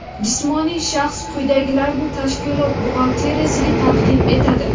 jismoniy shaxs quyidagilarni tashkilot buxgalteriyasiga taqdim etadi:.